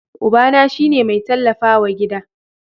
Ubana shi ne mai tallafawa gida.